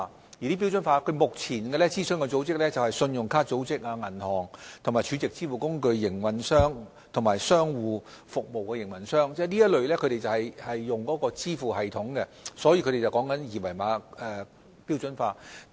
就此，金管局目前正諮詢信用卡公司、銀行、儲值支付工具營運商及商戶服務營運商，這些均是會使用支付系統的機構，他們正商討二維碼標準化的事宜。